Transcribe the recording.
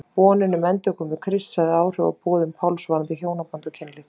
Vonin um endurkomu Krists hafði áhrif á boðun Páls varðandi hjónaband og kynlíf.